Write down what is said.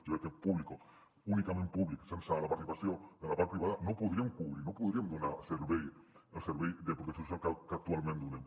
jo crec que públic únicament públic sense la participació de la part privada no ho podríem cobrir no podríem donar el servei de protecció social que actualment donem